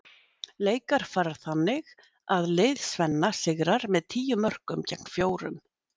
Leikar fara þannig að lið Svenna sigrar með tíu mörkum gegn fjórum.